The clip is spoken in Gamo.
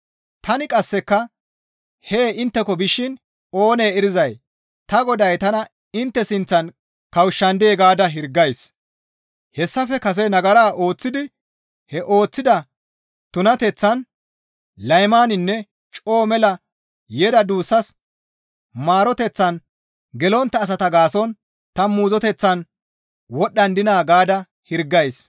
Tani qasseka hee intteko bishin oonee erizay ta Goday tana intte sinththan kawushshandee gaada hirgays. Hayssafe kase nagara ooththidi he ooththida tunateththaan, laymaninne coo mela yeda duussas maaroteththan gelontta asata gaason ta muuzoteththan wodhdhandina gaada hirgays.